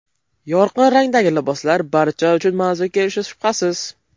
Yorqin rangdagi liboslar barcha uchun manzur kelishi shubhasiz.